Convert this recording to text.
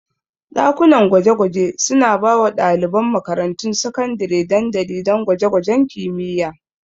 Dakunan gwaje-gwaje suna ba wa ɗaliban makarantun sakandare dandali don gwaje-gwajen kimiyya.